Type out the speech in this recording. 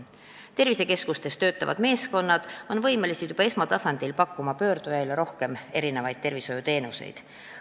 Tervisekeskustes töötavad meeskonnad on võimelised juba esmatasandil pakkuma pöördujaile rohkem tervishoiuteenuseid.